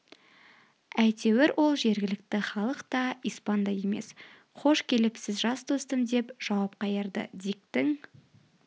әйтеуір ол жергілікті халық та испан да емес хош келіпсіз жас достым деп жауап қайырды диктің